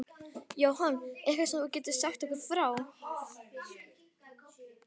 Jóhann: Eitthvað sem þú getur sagt okkur frá?